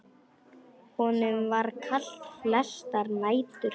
Honum var kalt flestar nætur.